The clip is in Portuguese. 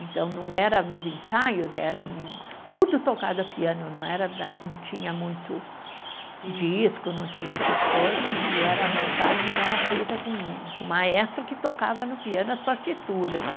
Então, não era nos ensaios, era um, tudo tocado a piano, não era né, não tinha muito disco, não tinha essas coisas, e era a montagem era feita com, com o maestro que tocava no piano as partituras.